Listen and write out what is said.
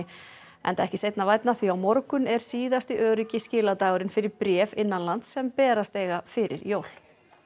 enda ekki seinna vænna því á morgun er síðasti öruggi skiladagurinn fyrir bréf innanlands sem berast eiga fyrir jól